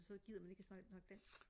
så gider man ikke og snakke dansk